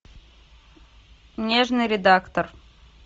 нежный редактор